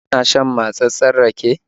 Kana son matsatssen rake?